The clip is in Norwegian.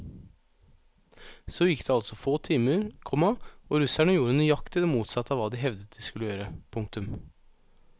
Så gikk det altså få timer, komma og russerne gjorde nøyaktig det motsatte av hva de hevdet de skulle gjøre. punktum